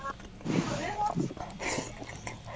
Hvað ætlaði hann að gera við bækurnar?